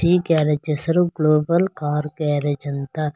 ಈ ಗ್ಯಾರೇಜ್ ಹೆಸರು global car garage ಅಂತ.